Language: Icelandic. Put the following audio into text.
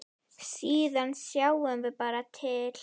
Síðan sjáum við bara til.